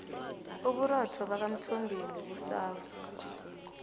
uburotho bakwamthombeni busafu